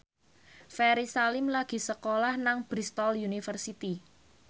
Ferry Salim lagi sekolah nang Bristol university